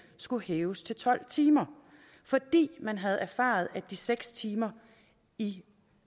skulle hæves til tolv timer fordi man havde erfaret at de seks timer i